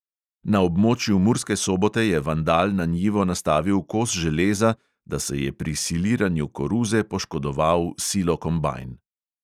Na območju murske sobote je vandal na njivo nastavil kos železa, da se je pri siliranju koruze poškodoval silokombajn.